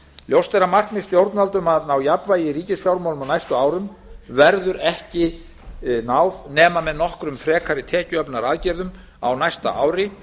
ljóst er að markmiði stjórnvalda um jafnvægi í ríkisfjármálum á næstu árum verður ekki náð nema með nokkrum frekari tekjuöflunaraðgerðum á næsta ári